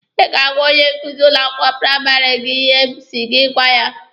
Ị ga-agwa onye nkuzi ụlọ akwụkwọ praịmarị gị ihe m si gị gwa ya!